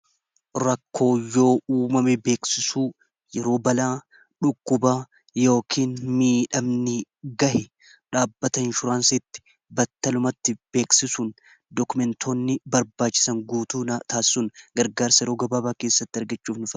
Rakkoo yoo uumame beeksisuu yeroo balaa dhukkubaa yookin miidhamni ga'e dhaabbata inshuraansitti battalumatti beeksisuun dOokumentoonni barbaachisan guutuu taasisuun gargaarsa yeroo gabaabaa keessatti argachuuf nu fayyada.